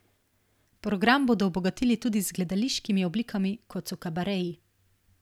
Program bodo obogatili tudi z gledališkimi oblikami kot so kabareji.